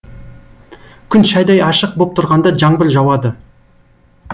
күн шайдай ашық боп тұрғанда жаңбыр жауады